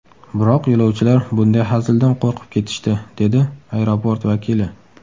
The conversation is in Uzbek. Biroq yo‘lovchilar bunday hazildan qo‘rqib ketishdi”, dedi aeroport vakili.